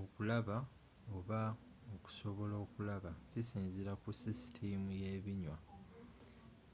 okulaba oba okusobola okulaba kisinzira ku sisitimu yebinywa